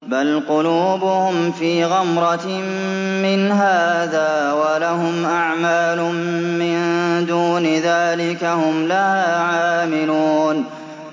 بَلْ قُلُوبُهُمْ فِي غَمْرَةٍ مِّنْ هَٰذَا وَلَهُمْ أَعْمَالٌ مِّن دُونِ ذَٰلِكَ هُمْ لَهَا عَامِلُونَ